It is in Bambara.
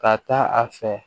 Ka taa a fɛ